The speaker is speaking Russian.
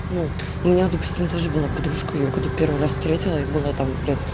вот у меня допустим тоже была подружка её когда первый раз встретила ей было там лет